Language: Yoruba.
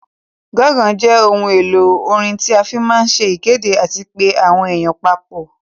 Gangsa jẹ ohun èlò orin tí a fí máa ń se ìkéde àti pé àwọn èèyàn papọ̀